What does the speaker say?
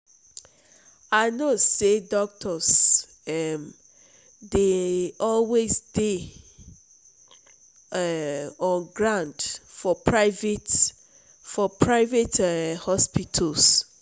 i know sey doctors um dey always dey um on ground for private for private um hospitals.